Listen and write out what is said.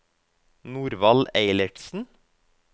Norvald Eilertsen